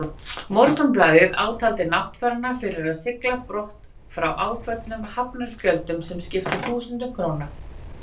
Morgunblaðið átaldi náttfarana fyrir að sigla á brott frá áföllnum hafnargjöldum, sem skiptu þúsundum króna.